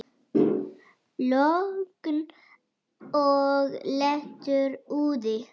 Logn og léttur úði.